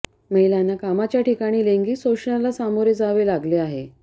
महिलांना कामाच्या ठिकाणी लैंगिक शोषणाला सामोरे जावे लागले आहे